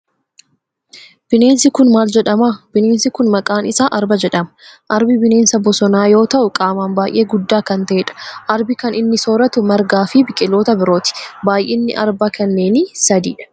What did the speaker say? Bineensi kun maal jedhama? Bineensi kun maqaan isaa arba jedhama. Arbi bineensa bosonaa yoo ta'u qaaman baayyee guddaa kan ta'edha. Arbi kan inni sooratu margaa fi biqiltoota birooti. Baayyiinni arba kanneenii sadi dha.